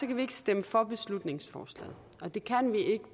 vi ikke stemme for beslutningsforslaget og det kan vi ikke